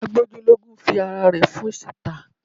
Agbójúlógún fi ara rẹ̀ fóṣì ta